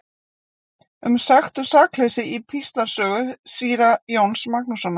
Um sekt og sakleysi í Píslarsögu síra Jóns Magnússonar.